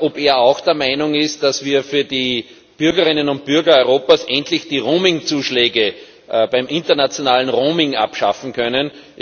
ob er auch der Meinung ist, dass wir für die Bürgerinnen und Bürger Europas endlich die Roamingzuschläge beim internationalen Roaming abschaffen können.